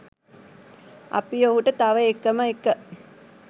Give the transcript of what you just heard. අපි ඔහුට තව එකම එක